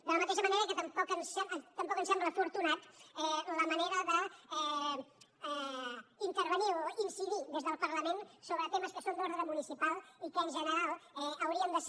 de la mateixa manera que tampoc ens sembla afortunada la manera d’intervenir o incidir des del parlament sobre temes que són d’ordre municipal i que en general haurien de ser